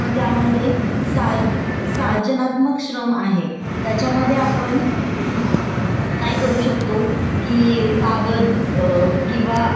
की कागद किंवा ऑरगॅनिकलरचा वापर करून काहीतरी नवीन लिहिणे भाषांतर करणे असं करून आपण त्यामध्ये सुद्धा आपण